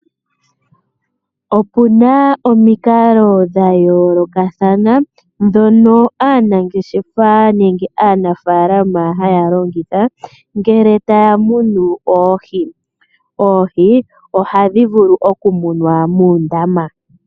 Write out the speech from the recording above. Opu na omikalo dha yoolokathana ndhono aanangeshefa nenge aanafaalama haya longitha ngele taya munu oohi. Oohi ohadhi vulu oku munwa muundama.